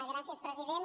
gràcies president